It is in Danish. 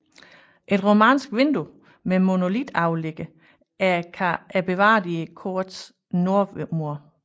Et romansk vindue med monolitoverligger er bevaret i korets nordmur